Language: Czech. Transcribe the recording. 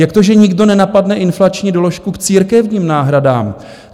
Jak to, že nikdo nenapadne inflační doložku k církevním náhradám?